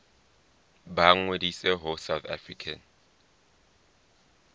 ba ngodise ho south african